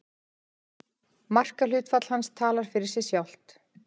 Markahlutfall hans talar fyrir sig sjálft.